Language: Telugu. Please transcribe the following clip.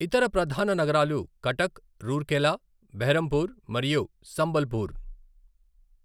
ఇతర ప్రధాన నగరాలు కటక్, రూర్కెలా, బెర్హంపూర్, మరియు సంబల్పూర్.